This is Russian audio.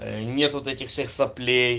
нет вот этих соплей